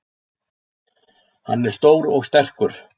Hann er stór og sterkur.